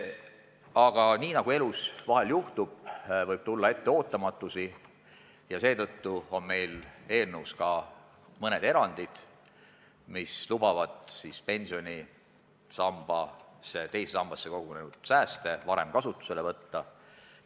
Aga nii nagu elus vahel juhtub, võib tulla ette ootamatusi ja seetõttu on meil eelnõus ka mõned erandid, mis lubavad teise sambasse kogunenud sääste varem kasutusele võtta.